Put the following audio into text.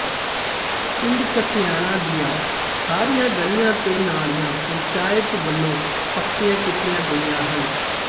ਪਿੰਡ ਕਸਿਆਣਾ ਦੀਆਂ ਸਾਰੀਆਂ ਗਲੀਆਂ ਤੇ ਨਾਲੀਆਂ ਪੰਚਾਇਤ ਵੱਲੋਂ ਪੱਕੀਆਂ ਕੀਤੀਆਂ ਗਈਆਂ ਹਨ